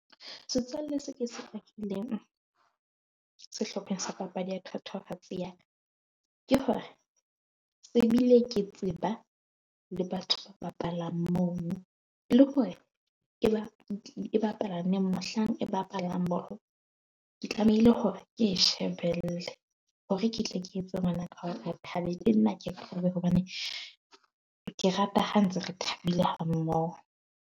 Setswalle se ke se bakileng sehlopheng sa papadi ya thatohatsi ya ka ke hore se bile ke tseba le batho ba bapalang mono le hore ke ba e bapala neng. Mohlang e bapalang bolo, ke tlamehile hore ke e shebelle hore ke tle ke etse hobane ke rata ha ntse re thabile ha mmoho.